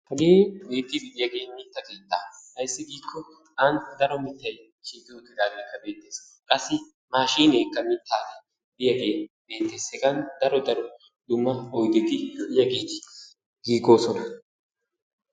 Hagee beetiidi diyage mita keettaa, ayssi giikko ani daro mitay doorettidaage beetees, qassi maashshiinekka mitaa deiyagee beetes, hegan daro dumma dumma oydeti lo'iyageti giiggoosona.